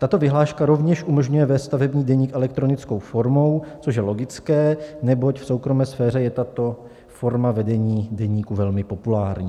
Tato vyhláška rovněž umožňuje vést stavební deník elektronickou formou, což je logické, neboť v soukromé sféře je tato forma vedení deníku velmi populární.